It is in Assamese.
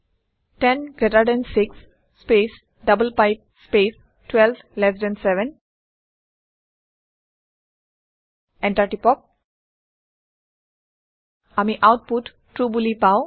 10 greater than 6 space double pipe space 12 less than 7 enter টিপক আমি আওতপুত ট্ৰু বোলি পাওঁ